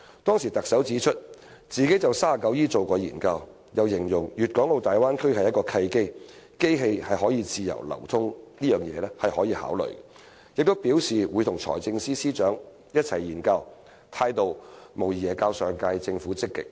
當時特首指出，她曾就第 39E 條進行研究，又形容粵港澳大灣區是契機，機器自由流通是可以考慮的，並表示會與財政司司長一同研究，態度無疑較上屆政府積極。